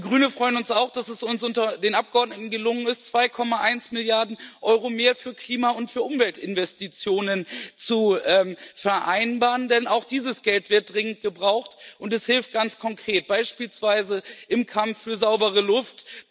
Wir Grüne freuen uns auch, dass es uns unter den Abgeordneten gelungen ist, 2,1 Milliarden EUR mehr für Klima und für Umweltinvestitionen zu vereinbaren, denn auch dieses Geld wird dringend gebraucht, und es hilft ganz konkret, beispielsweise im Kampf für saubere Luft.